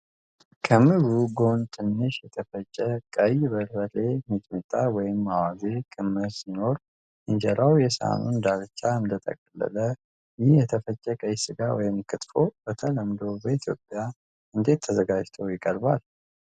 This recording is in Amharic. ከምግቡ ጎን ትንሽ የተፈጨ ቀይ በርበሬ (ሚጥሚጣ ወይም አዋዜ) ክምር ሲኖር፣ እንጀራው የሳህኑን ዳርቻ እንደተጠቀለለ ።ይህ የተፈጨ ቀይ ስጋ (ክትፎ) በተለምዶ በኢትዮጵያ እንዴት ተዘጋጅቶ ይቀርባል?